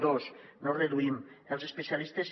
dos no reduïm els especialistes